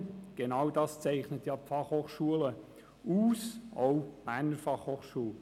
Genau dies zeichnet ja eine FH aus, auch die BFH.